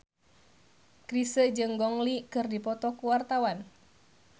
Chrisye jeung Gong Li keur dipoto ku wartawan